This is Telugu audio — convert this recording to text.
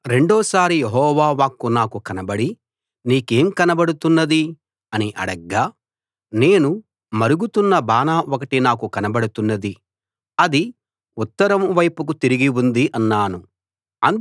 రెండోసారి యెహోవా వాక్కు నాకు కనబడి నీకేం కనబడుతున్నది అని అడగ్గా నేను మరుగుతున్న బాన ఒకటి నాకు కనబడుతున్నది అది ఉత్తరం వైపుకు తిరిగి ఉంది అన్నాను